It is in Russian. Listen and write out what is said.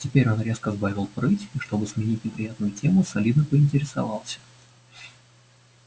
теперь он резко сбавил прыть и чтобы сменить неприятную тему солидно поинтересовался